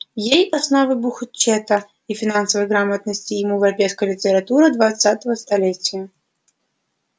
ей основы бухучёта и финансовой грамотности ему европейская литература двадцатого столетия